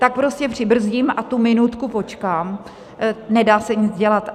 Tak prostě přibrzdím a tu minutku počkám, nedá se nic dělat.